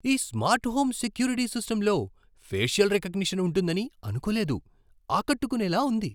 ఈ smart home security సిస్టమ్లో facial recognition ఉంటుందని అనుకోలేదు. ఆకట్టుకునేలా ఉంది!